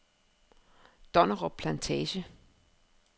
Donnerup Plantage